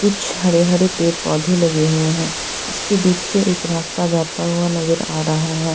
कुछ हरे हरे पेड़ पौधे लगे हुए हैं इसके पीछे एक रास्ता जाता हुआ नजर आ रहा है।